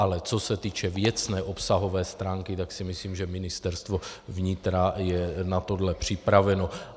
Ale co se týče věcné, obsahové stránky, tak si myslím, že Ministerstvo vnitra je na tohle připraveno.